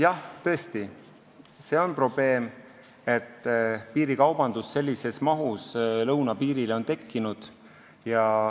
Jah, tõesti, see on probleem, et sellises mahus piirikaubandus on lõunapiirile tekkinud.